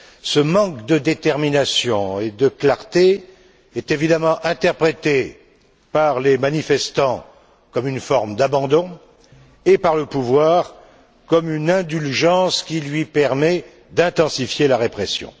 Ce manque de détermination et de clarté est évidemment interprété par les manifestants comme une forme d'abandon et, par le pouvoir, comme une indulgence qui lui permet d'intensifier la répression.